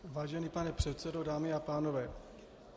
Vážený pane předsedo, dámy a pánové.